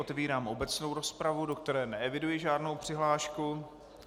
Otevírám obecnou rozpravu, do které neeviduji žádnou přihlášku.